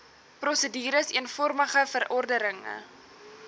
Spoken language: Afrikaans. prosedures eenvormige verordenige